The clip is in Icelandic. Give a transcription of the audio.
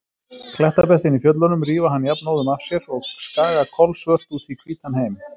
Klettabeltin í fjöllunum rífa hann jafnóðum af sér og skaga kolsvört út í hvítan heim.